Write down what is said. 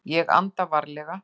Ég anda varlega.